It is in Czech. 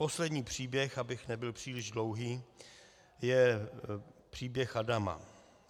Poslední příběh, abych nebyl příliš dlouhý, je příběh Adama.